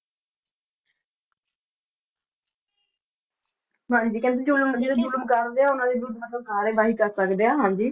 ਹਾਂਜੀ ਕਹਿੰਦੇ ਜੋ ਜੁਲਮ ਕਰਦੇ ਆ, ਉਹਨਾਂ ਦੀ ਦੁਰਵਰਤੋਂ ਕਰ ਸਕਦੇ ਆ, ਹਾਂਜੀ।